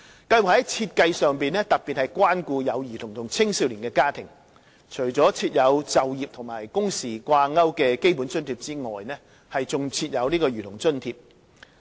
計劃在設計上特別關顧有兒童和青少年的家庭，除設有與就業和工時掛鈎的基本津貼外，還設有兒童津貼。